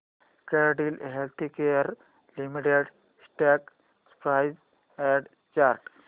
Cadila healthcare limited stock price and chart